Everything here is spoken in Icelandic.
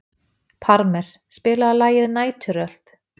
Parmes, spilaðu lagið „Næturrölt“.